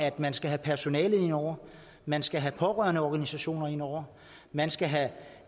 at man skal have personale med ind over man skal have pårørendeorganisationer ind over man skal have